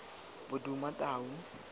bodumatau